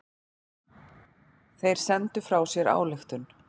Þeir sendu frá sér ályktun.